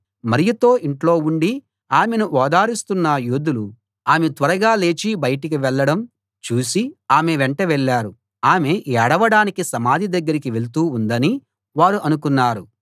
మరియతో ఇంట్లో ఉండి ఆమెను ఓదారుస్తున్న యూదులు ఆమె త్వరగా లేచి బయటకు వెళ్ళడం చూసి ఆమె వెంట వెళ్ళారు ఆమె ఏడవడానికి సమాధి దగ్గరికి వెళ్తూ ఉందని వారు అనుకున్నారు